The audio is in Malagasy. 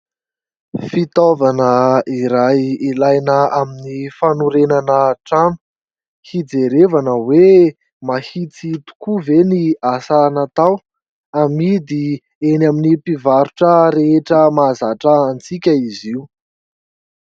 Fitaovana iray ilaina amin'ny fanorenana trano. Hijerena hoe mahitsy tokoa ve ny asa natao, amidy eny amin'ny mpivarotra rehetra mahazatra antsika izy io.